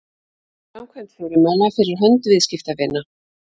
framkvæmd fyrirmæla fyrir hönd viðskiptavina